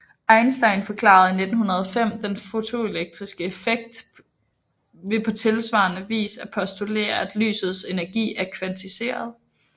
Einstein forklarede i 1905 den fotoelektriske effekt ved på tilsvarende vis at postulere at lysets energi er kvantiseret